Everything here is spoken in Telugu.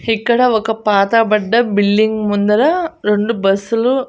ఇక్కడ ఒక పాత బడ్డ బిల్డింగ్ ముందర రెండు బస్సులు --